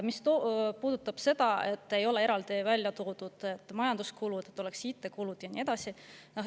Mis puudutab seda, et majanduskulude puhul ei ole eraldi välja toodud, et on IT-kulud ja nii edasi.